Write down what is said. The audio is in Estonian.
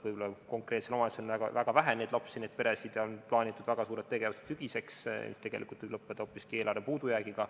Võib-olla konkreetses omavalitsuses on väga vähe neid lapsi ja peresid ning on plaanitud väga suured tegevused sügiseks, mis tegelikult võib lõppeda hoopiski eelarve puudujäägiga.